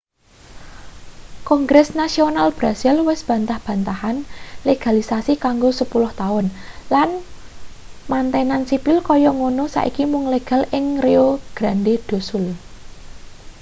kongres nasional brasil wis bantah-bantahan legalisasi kanggo 10 taun lan mantenan sipil kaya ngono saiki mung legal ing rio grande do sul